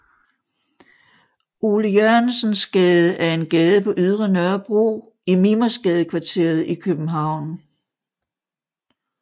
Ole Jørgensens Gade er en gade på Ydre Nørrebro i Mimersgadekvarteret i København